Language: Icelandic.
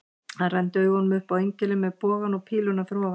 Hann renndi augunum upp á engilinn með bogann og píluna fyrir ofan.